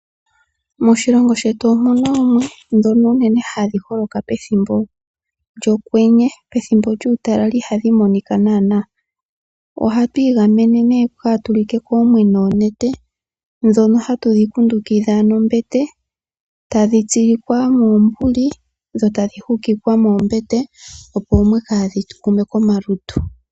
Moshilongo shetu omu na oomwe ndhono unene hadhi holoka pethimbo lyokwenye, pethimbo lyuutalala ihadhi monika naanaa. Ohatu igamene nee kaatu like koomwe noonete ndhono hatu dhi kundukidha nombete tadhi tsilikwa moombuli dho tadhi hukikwa moombete, opo oomwe kaadhi tu gume komalutu.